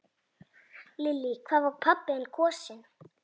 Lillý: Hvað var pabbi þinn kosinn?